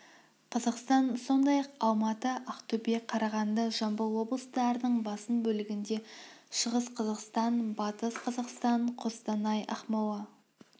қазақстан сондай-ақ алматы ақтөбе қарағанды жамбыл облыстарының басым бөлігінде шығыс қазақстан батыс қазақстан қостанай ақмола